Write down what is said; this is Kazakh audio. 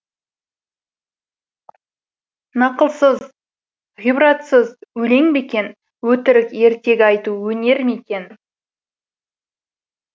нақылсыз ғибратсыз өлең бе екен өтірік ертегі айту өнер ме екен